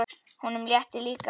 Honum létti líka.